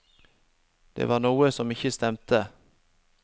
Det var noe som ikke stemte.